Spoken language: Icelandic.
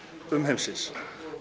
umheimsins